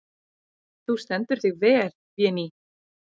Þú stendur þig vel, Véný!